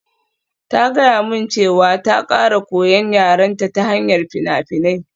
Ta gaya min cewa ta ƙara koyan yarenta ta hanyar fina-finai